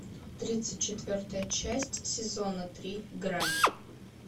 тридцать четвертая часть сезона три грань